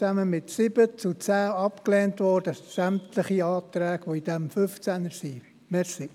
Ansonsten wurden sämtliche Anträge betreffend Artikel 15 mit 7 zu 10 abgelehnt.